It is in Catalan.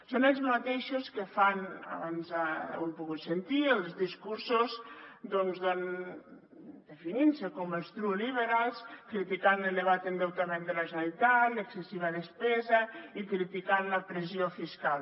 són els mateixos que fan abans ho hem pogut sentir els discursos doncs definint se com els true liberals criticant l’elevat endeutament de la generalitat l’excessiva despesa i criticant la pressió fiscal